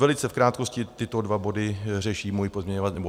Velice v krátkosti, tyto dva body řeší náš pozměňovací návrh.